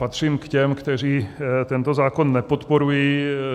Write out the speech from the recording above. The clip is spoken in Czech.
Patřím k těm, kteří tento zákon nepodporují.